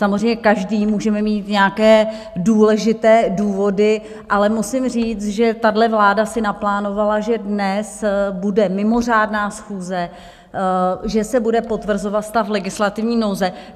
Samozřejmě každý můžeme mít nějaké důležité důvody, ale musím říct, že tahle vláda si naplánovala, že dnes bude mimořádná schůze, že se bude potvrzovat stav legislativní nouze.